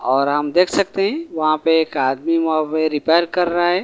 और हम देख सकते हैं वहां पे एक आदमी रिपेयर कर रहा है।